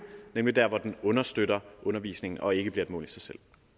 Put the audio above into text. nemlig der hvor den understøtter undervisningen og ikke bliver et mål i sig selv